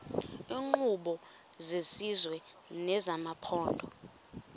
iinkqubo zesizwe nezamaphondo